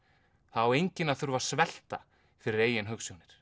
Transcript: það á enginn að þurfa að svelta fyrir eigin hugsjónir